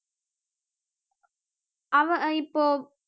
அவன் இப்போ